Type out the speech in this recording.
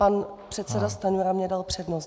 Pan předseda Stanjura mi dal přednost.